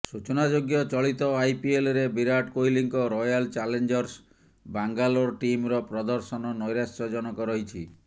ସୂଚନାଯୋଗ୍ୟ ଚଳିତ ଆଇପିଏଲରେ ବିରାଟ କୋହଲିଙ୍କ ରୟାଲ ଚ୍ୟାଲେଞ୍ଜର୍ସ ବାଙ୍ଗାଲୋର ଟିମର ପ୍ରଦର୍ଶନ ନୈରାଶ୍ୟଜନକ ରହିଛି